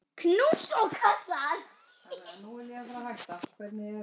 Knús og kossar.